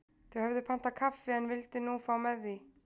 Þau höfðu pantað kaffi en vildu nú fá með því.